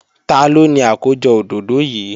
Taló ni àkójọ òdòdó yìí?